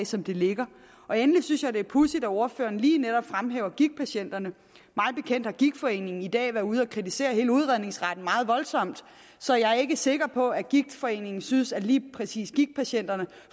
som det ligger endelig synes jeg det er pudsigt at ordføreren lige netop fremhæver gigtpatienterne mig bekendt har gigtforeningen i dag er været ude at kritisere hele udredningsretten meget voldsomt så jeg er ikke sikker på at gigtforeningen synes at lige præcis gigtpatienterne